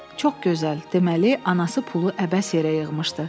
Çox gözəl, deməli anası pulu əbəs yerə yığmışdı.